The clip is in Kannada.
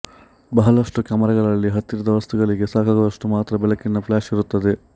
ಬಹಳಷ್ಟು ಕ್ಯಾಮರಾಗಳಲ್ಲಿ ಹತ್ತಿರದ ವಸ್ತುಗಳಿಗೆ ಸಾಕಾಗುವಷ್ಟು ಮಾತ್ರ ಬೆಳಕಿನ ಫ್ಲಾಶ್ ಇರುತ್ತದೆ